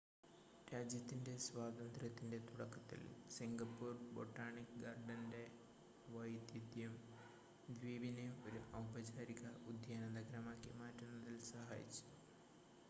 രാജ്യത്തിൻ്റെ സ്വാതന്ത്ര്യത്തിൻ്റെ തുടക്കത്തിൽ സിംഗപ്പൂർ ബൊട്ടാണിക്ക് ഗാർഡൻ്റെ വൈദഗ്‌ധ്യം ദ്വീപിനെ ഒരു ഔപചാരിക ഉദ്യാന നഗരമാക്കി മാറ്റുന്നതിൽ സഹായിച്ചു